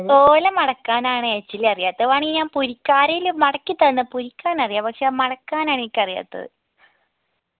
ഓല മടക്കാനാണേചിലറിയാത്തെ വേണെങ്കി ഞാൻ പൊരിക്ക ആരേലും മടക്കി തന്ന പൊരിക്കാനറിയ പക്ഷെ അഹ് മടക്കാനാ എനിക്കറിയാത്തത്